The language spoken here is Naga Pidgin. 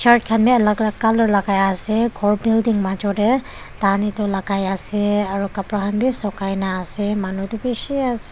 shirt khan bi alak alak colour lakai ase khor building major tae tahan edu lakai ase aru kapra khan bi sukai na ase manu tu bishi ase--